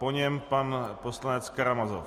Po něm pan poslanec Karamazov.